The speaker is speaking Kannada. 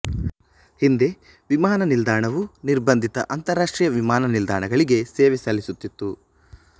ಹಿಂದೆ ವಿಮಾನ ನಿಲ್ದಾಣವು ನಿರ್ಬಂಧಿತ ಅಂತರಾಷ್ಟ್ರೀಯ ವಿಮಾನ ನಿಲ್ದಾಣಗಳಿಗೆ ಸೇವೆ ಸಲ್ಲಿಸುತ್ತಿತ್ತು